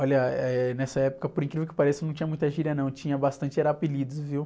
Olha, nessa época, por incrível que pareça, não tinha muita gíria, não, tinha bastante, era apelidos, viu?